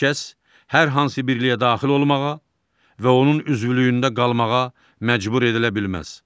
Heç kəs hər hansı birliyə daxil olmağa və onun üzvlüyündə qalmağa məcbur edilə bilməz.